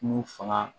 Ku fanga